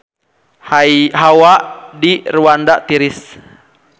Hawa di Rwanda tiris